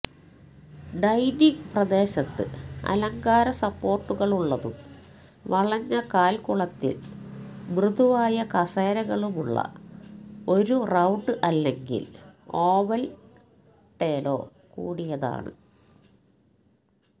dining പ്രദേശത്ത് അലങ്കാര സപ്പോർട്ടുകളുള്ളതും വളഞ്ഞ കാൽക്കുളത്തിൽ മൃദുവായ കസേരകളുമുള്ള ഒരു റൌണ്ട് അല്ലെങ്കിൽ ഓവൽ ടേലോ കൂടിയതാണ്